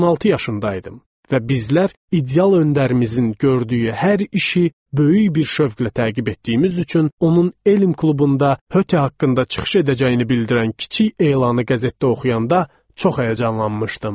16 yaşında idim və bizlər ideal öndərimizin gördüyü hər işi böyük bir şövqlə təqib etdiyimiz üçün onun elm klubunda Höte haqqında çıxış edəcəyini bildirən kiçik elanı qəzetdə oxuyanda çox həyəcanlanmışdım.